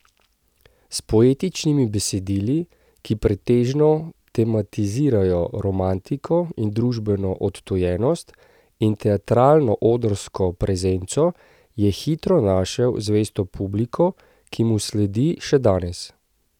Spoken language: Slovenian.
S poetičnimi besedili, ki pretežno tematizirajo romantiko in družbeno odtujenost, in teatralno odrsko prezenco je hitro našel zvesto publiko, ki mu sledi še danes.